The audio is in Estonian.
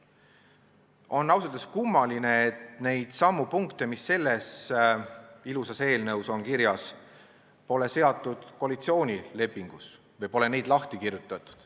On ausalt öeldes kummaline, et neidsamu punkte, mis selles ilusas eelnõus on kirjas, pole seatud koalitsioonilepingusse või pole neid seal lahti kirjutatud.